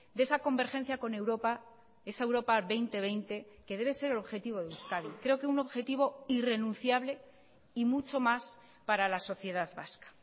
de esa convergencia con europa esa europa dos mil veinte que debe ser el objetivo de euskadi creo que un objetivo irrenunciable y mucho más para la sociedad vasca